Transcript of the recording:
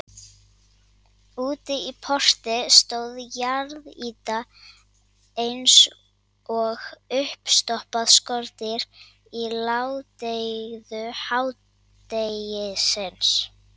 Úti í porti stóð jarðýta eins og uppstoppað skordýr í ládeyðu hádegisins.